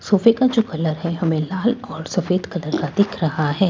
सोफे का जो कलर है हमे लाल और सफ़ेद कलर का दिखा रहा है।